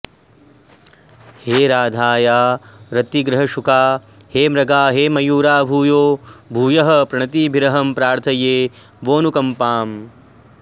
हे राधाया रतिग्रहशुका हे मृगा हे मयूरा भूयो भूयः प्रणतिभिरहं प्रार्थये वोऽनुकम्पाम्